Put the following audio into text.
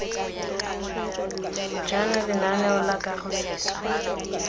jaana lenaneo la kago seswa